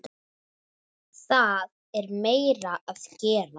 Það er meira að gera.